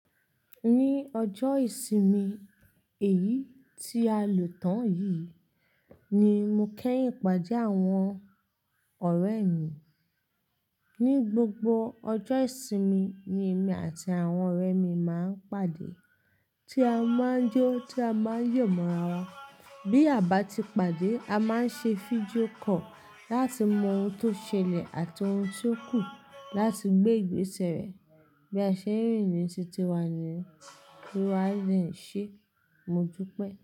Ní ọjọ́ ìsinmi èyí tí a lò tán yìí ni mo kẹ́yìn pàdé àwọn ọ̀rẹ́ mi. Ni gbogbo ọjọ́ ìsinmi ni èmi àti àwọn ọ̀rẹ́ mi máa ń pàdé tí a máa ń jó tí a máa ń yò mọ́ra wa. Bí a bá ti pàdé a máa ń ṣe fídíò call láti mọ ohun tó ṣẹlẹ̀ àti ohun tó kù láti gbé ìgbésẹ̀ rẹ. Bí a ṣe rìn ní títí wá ní kí wá lè ń ṣe, mo dúpẹ́.